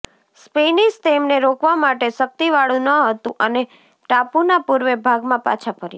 Spanish તેમને રોકવા માટે શક્તિવાળું ન હતું અને ટાપુના પૂર્વ ભાગમાં પાછા ફર્યા